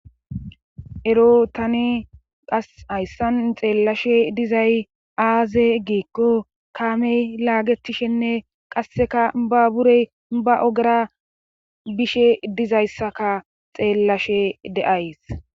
ero tani qas hayssan xeellashe dizay aaze giikko kaamey laagetishenne qasseka ba burey ba ogara bishe dizayssaka xeellashe de'ays